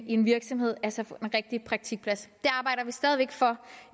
i en virksomhed altså få en rigtig praktikplads